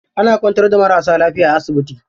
Ana kwantar da marasa lafiya a asibiti.